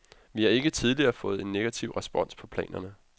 Vi har ikke tidligere fået en negativ respons på planerne.